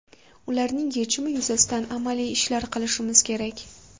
Ularning yechimi yuzasida amaliy ishlar qilishimiz kerak.